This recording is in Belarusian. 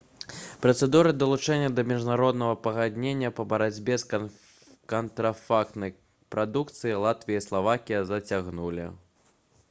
працэдуру далучэння да міжнароднага пагаднення па барацьбе з кантрафактнай прадукцыяй латвія і славакія зацягнулі